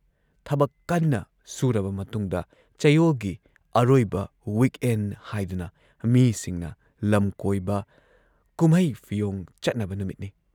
ꯊꯕꯛ ꯀꯟꯅ ꯁꯨꯔꯕ ꯃꯇꯨꯡꯗ ꯆꯌꯣꯜꯒꯤ ꯑꯔꯣꯏꯕ ꯋꯤꯛ ꯑꯦꯟꯗ ꯍꯥꯏꯗꯨꯅ ꯃꯤꯁꯤꯡꯅ ꯂꯝꯀꯣꯏꯕ, ꯀꯨꯝꯍꯩ ꯐꯤꯌꯣꯡ ꯆꯠꯅꯕ ꯅꯨꯃꯤꯠꯅꯤ ꯫